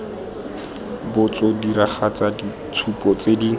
botso diragatsa ditshupo tse di